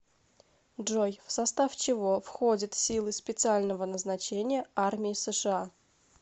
джой в состав чего входит силы специального назначения армии сша